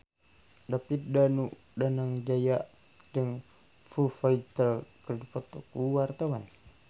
David Danu Danangjaya jeung Foo Fighter keur dipoto ku wartawan